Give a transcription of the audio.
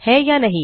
है या नहीं160